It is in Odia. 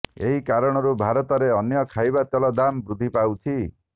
ଏହି କାରଣରୁ ଭାରତରେ ଅନ୍ୟ ଖାଇବା ତେଲର ଦାମ ବୃଦ୍ଧି ପାଉଛି